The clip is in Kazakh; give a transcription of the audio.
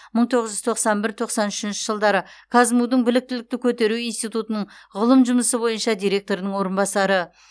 мың тоғыз жүз тоқсан бір тоқсан үшінші жылдары қазму дың біліктілікті көтеру институтының ғылым жұмысы бойынша директорының орынбасары